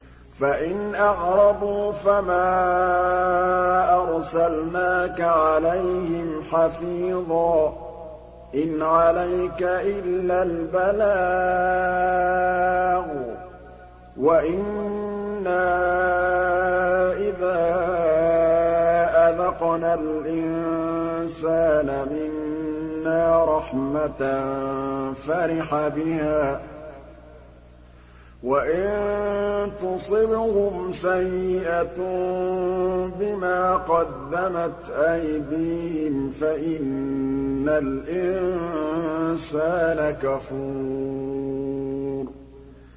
فَإِنْ أَعْرَضُوا فَمَا أَرْسَلْنَاكَ عَلَيْهِمْ حَفِيظًا ۖ إِنْ عَلَيْكَ إِلَّا الْبَلَاغُ ۗ وَإِنَّا إِذَا أَذَقْنَا الْإِنسَانَ مِنَّا رَحْمَةً فَرِحَ بِهَا ۖ وَإِن تُصِبْهُمْ سَيِّئَةٌ بِمَا قَدَّمَتْ أَيْدِيهِمْ فَإِنَّ الْإِنسَانَ كَفُورٌ